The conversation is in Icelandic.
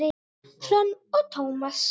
Hrönn og Tómas.